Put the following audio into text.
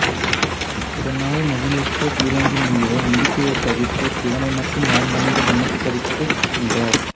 இதனால் மகிழ்வுற்ற பிருங்கி முனிவர் அம்பிகையைத் தவிர்த்து சிவனை மட்டும் வலம்வந்து நமஸ்கரித்து நின்றார்